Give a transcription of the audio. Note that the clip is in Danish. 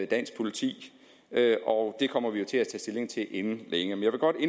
dansk politi og det kommer vi til at tage stilling til inden længe